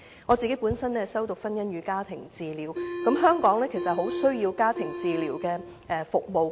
我本身修讀婚姻與家庭治療，而香港其實很需要家庭治療服務。